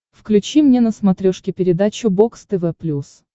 включи мне на смотрешке передачу бокс тв плюс